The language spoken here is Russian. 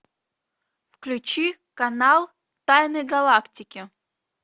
включи канал тайны галактики